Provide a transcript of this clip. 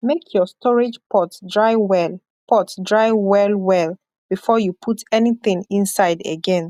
make your storage pot dry well pot dry well well before you put anything inside again